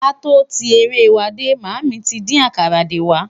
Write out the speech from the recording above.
k'a tọ tí eré wà dé, mami tí dín àkàrà dé wà